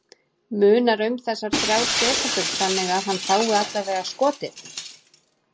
Munar um þessar þrjár sekúndur þannig að hann fái allavega skotið?